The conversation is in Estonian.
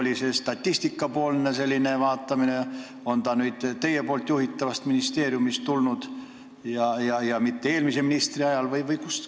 Oli see Statistikaameti selline vaatamine või on see teie juhitavast ministeeriumist tulnud ja mitte eelmise ministri ajal?